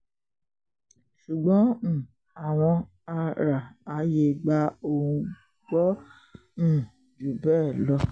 ṣùgbọ́n um àwọn àrààyè gba oun gbọ́ um jù bẹ́ẹ̀ lọ